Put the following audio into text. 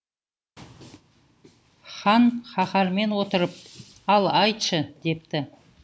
хан қаһармен отырып ал айтшы депті